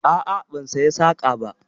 A'a, ban saya saƙa ba.